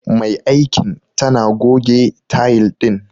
Mai aikin tana goge tayil din.